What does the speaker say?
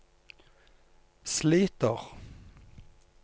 sliter